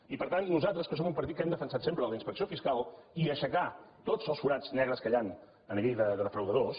i per tant nosaltres que som un partit que hem defensat sempre la inspecció fiscal i aixecar tots els forats negres que hi han a nivell de defraudadors